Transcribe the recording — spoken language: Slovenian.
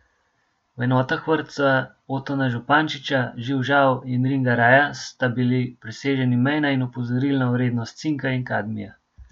V dveh enotah vrtca Otona Župančiča, Živ Žav in Ringaraja, sta bili preseženi mejna in opozorilna vrednost cinka in kadmija.